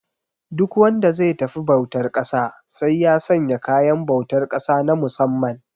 Duk wanda ze tafi bautar ƙasa sai ya sanya kayan bautar ƙasa na musamman